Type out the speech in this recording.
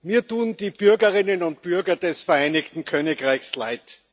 Mir tun die Bürgerinnen und Bürger des Vereinigten Königreichs leid.